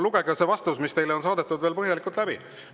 Lugege see vastus, mis teile on saadetud, veel põhjalikult läbi.